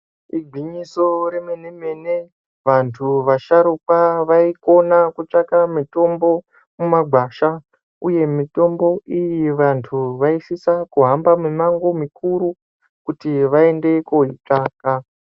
Igwinyiso remene-mene, vantu vasharuka vaikona kutsvaka mutombo mumagwasha uye mitombo iyi vantu vaisisa kuhamba mimango mikuru kuti vaende koitsvaga.